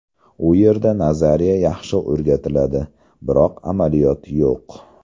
U yerda nazariya yaxshi o‘rgatiladi, biroq amaliyot yo‘q.